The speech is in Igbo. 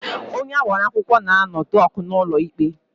Onye agbara akwụkwọ na-anọ dọk n'ụlọ ikpe.